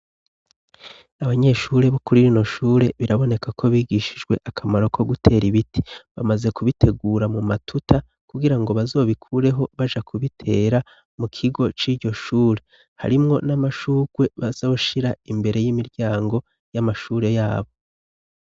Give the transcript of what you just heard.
Abanyeshure bo kuri rino shure biraboneka ko bigishijwe akamaro ko gutera ibiti. Bamaze kubitegura mu matuta, kugira ngo bazobikureho baja kubitera, mu kigo c'iryo shure. Harimwo n'amashurwe bazoshira imbere y'imiryango, y'amashure yabo.